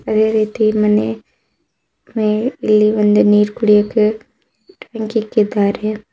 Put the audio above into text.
ಇದೇ ರೀತಿ ಮನೆ ಮೇಲೆ ಇಲ್ಲಿ ಒಂದು ನೀರು ಕುಡಿಯೋಕೆ ಟ್ಯಾಂಕಿ ಇಕ್ಕಿದ್ದಾರೆ.